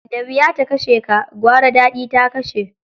Da wuya ta kashe ka, gwara daɗi ya kashe.